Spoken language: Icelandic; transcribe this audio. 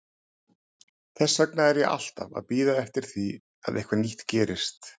Þess vegna er ég alltaf að bíða eftir því að eitthvað nýtt gerist.